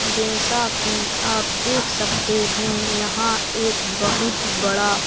जैसा कि आप देख सकते है यहां एक बहुत बड़ा--